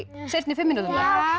seinni fimm mínútunum